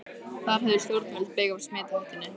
Þar höfðu stjórnvöld beyg af smithættunni.